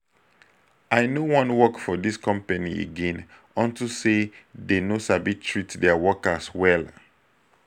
i no wan work for dis company again unto say dey no sabi treat their workers well